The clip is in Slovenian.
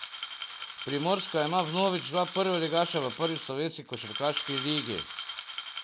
Primorska ima vnovič dva prvoligaša v prvi slovenski košarkarski ligi.